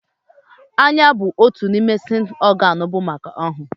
Anya bu otu n'ime séns ọgán bu maka ọhụụ